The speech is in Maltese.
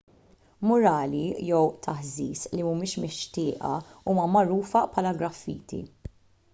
murali jew taħżiż li mhumiex mixtieqa huma magħrufa bħala graffiti